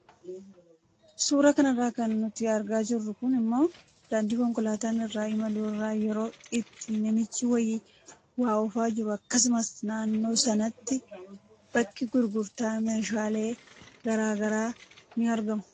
Suuraa kana irraa kan nuti argaa jirru kun immoo daandii konkolaataan irra imalu irra yeroo itti namichi wayii waa oofaa jiru akkasumas naannoo sanatti bakki gurgurtaa meeshaalee garaagaraa ni argamu.